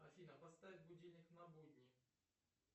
афина поставь будильник на будни